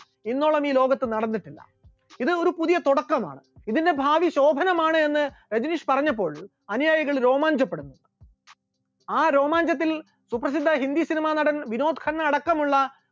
ഇന്നോളം ഈ ലോകത്ത് നടന്നിട്ടില്ല, ഇത് ഒരു പുതിയ തുടക്കമാണ്, ഇതിന്റെ ഭാവി ശോഭനമാണ് എന്ന് രജനീഷ് പറഞ്ഞപ്പോൾ അനുയായികൾ രോമാഞ്ചപ്പെടുന്നു, ആ രോമാഞ്ചത്തിൽ സുപ്രസിദ്ധ ഹിന്ദി cinema നടൻ വിനോദ് ഖന്ന അടക്കമുള്ള